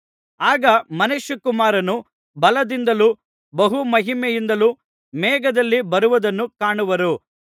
ಆಗ ಮನುಷ್ಯಕುಮಾರನು ಬಲದಿಂದಲೂ ಬಹು ಮಹಿಮೆಯಿಂದಲೂ ಮೇಘದಲ್ಲಿ ಬರುವುದನ್ನು ಕಾಣುವರು